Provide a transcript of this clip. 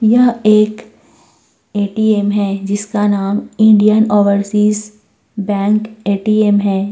यह एक एटीएम है जिसका नाम इंडियन ओवरसीज बैंक एटीएम है।